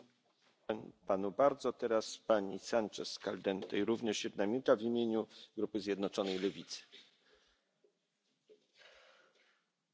Señor presidente, la propuesta de la Comisión Europea para la unificación de todos los instrumentos financieros de nuestra acción exterior es una ofensa a este Parlamento.